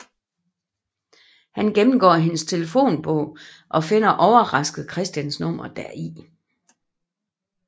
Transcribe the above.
Han gennemgår hendes telefonbog og finder overrasket Christians nummer deri